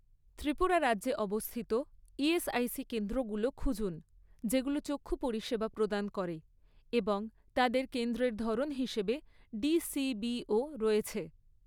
ত্রিপুরা রাজ্যে অবস্থিত ইএসআইসি কেন্দ্রগুলো খুঁজুন যেগুলো চক্ষু পরিষেবা প্রদান করে এবং তাদের কেন্দ্রের ধরন হিসাবে ডিসিবিও রয়েছে৷